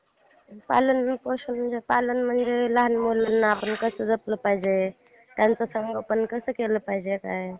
दहावीच्या base वर ITI करू शकतो. असं आहे मग ITI पण करू शकतो आपण.